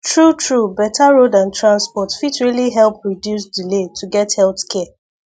truetrue better road and transport fit really help reduce delay to get health care